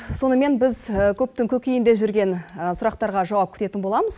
сонымен біз көптің көкейінде жүрген сұрақтарға жауап күтетін боламыз